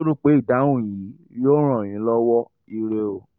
rò pé ìdáhùn yìí yóò ràn yín lọ́wọ́! ire o